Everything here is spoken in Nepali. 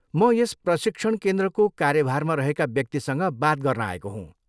म यस प्रशिक्षण केन्द्रको कार्यभारमा रहेका व्यक्तिसँग बात गर्न आएको हुँ।